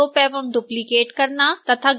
objects को group एवं duplicate करना तथा